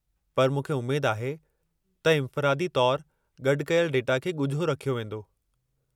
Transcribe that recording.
पर मूंखे उमेद आहे त इन्फ़िरादी तौरु गॾु कयल डेटा खे ॻुझो रखियो वेंदो।